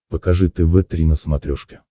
покажи тв три на смотрешке